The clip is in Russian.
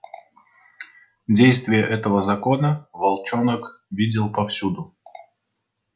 действие этого закона волчонок видел повсюду